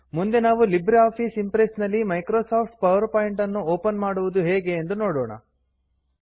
ಮುಂದೆ ನಾವು LibreOffice Impress ನಲ್ಲಿ ಮೈಕ್ರೋಸಾಫ್ಟ್ ಪವರ್ ಪಾಯಿಂಟ್ ನ್ನು ಒಪನ್ ಮಾಡುವುದು ಹೇಗೆ ಎಂದು ನೋಡೋಣ